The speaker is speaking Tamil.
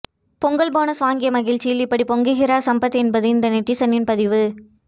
பொங்கல் போனஸ் வாங்கிய மகிழ்ச்சியில் இப்படி பொங்குகிறார் சம்பத் என்பது இந்த நெட்டிசனின் பதிவு